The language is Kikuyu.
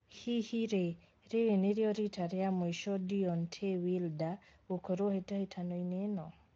Hihi rĩ rĩrĩ nĩrio rita rĩa mũico Deontay Wilder gũkorwo hĩtahĩtano-inĩ ĩno?